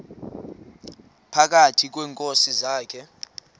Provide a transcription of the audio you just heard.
phakathi kweenkosi zakhe